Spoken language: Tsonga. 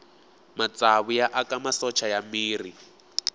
matsavu ya aka masocha ya miri